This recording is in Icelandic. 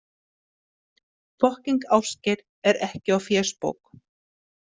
Fokkíng Ásgeir er ekki á fésbók.